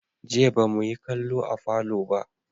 Jiya ba mu yi kallo a falo ba.